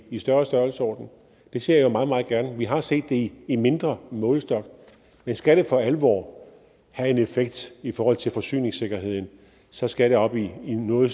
i større størrelsesorden det ser jeg meget meget gerne vi har set det i mindre målestok men skal det for alvor have en effekt i forhold til forsyningssikkerheden så skal det op i en noget